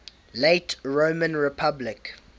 late roman republic